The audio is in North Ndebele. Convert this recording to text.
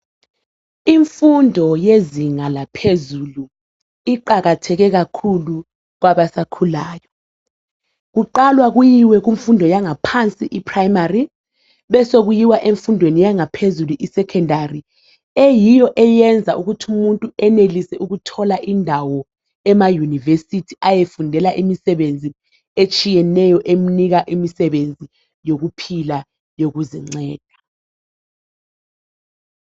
Imfundo yezinga laphezulu iqakatheke kakhulu kwabasakhulayo kuqalwa kuyiwe kumfundo yangaphansi I primary besokuyiwa emfundweni yangaphezulu I Secondary eyiyo eyenza ukuthi umuntu enelise ukuthola indawo ema university ayefundela imisebenzi etshiyeneyo emnika imisebenzi yokuphila yokuzinceda